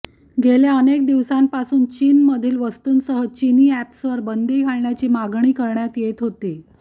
गेल्या अनेक दिवसांपासून चीनमधील वस्तूंसह चीनी अॅप्सवर बंदी घालण्याची मागणी करण्यात येत होती